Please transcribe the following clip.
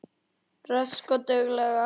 Rösk og dugleg.